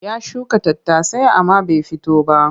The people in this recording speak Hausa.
Ya shuka tattasai amma bai fito ba.